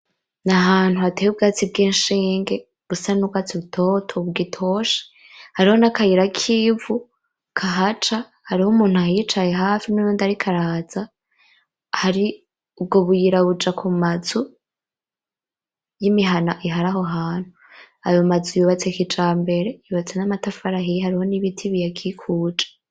Nahantu hateye ubwatsi bwinshinge busa nubwatsi butoto bugitoshe, hariho nakayira k'ivu kahaca, hariho umuntu ahicaye hafi nuwundi ariko araza, hari ubwo buyira buja kumazu, nimihana iriho aho hantu. Ayo mazu yubatse kijambere, yubatse mumatafari ahiye hariho nibiti biyakikuje.